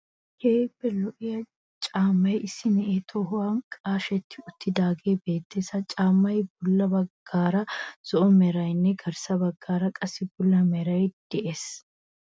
Keehippe lo'iya caammay issi naye tohuwan qashetti uttidaagee beettees. Ha caammaassi bolla baggaara zo'o merayinne garssa baggaara qassi bulla merayi de'ees